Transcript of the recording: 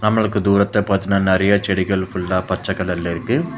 நம்மளுக்கு தூரத்துல பாத்தீனா நெறைய செடிகள் ஃபுல்லா பச்ச கலர்ல இருக்கு.